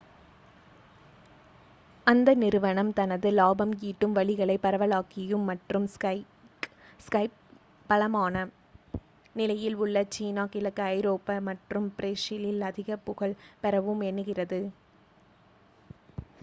அந்த நிறுவனம் தனது லாபம் ஈட்டும் வழிகளை பரவலாக்கியும் மற்றும் ஸ்கைப் பலமான நிலையில் உள்ள சீனா கிழக்கு ஐரோப்பா மற்றும் பிரேசிலில் அதிகப் புகழ் பெறவும் எண்ணுகிறது